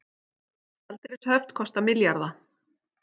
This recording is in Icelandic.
Gjaldeyrishöft kosta milljarða